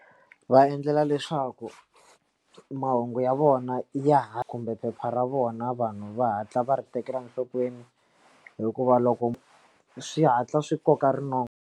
Va endlela leswaku mahungu ya vona ya ha khumbe phepha ra vona vanhu va hatla va ri tekela enhlokweni hikuva loko swi hatla swi koka rinoko.